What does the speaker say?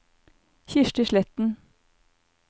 Kirsti Sletten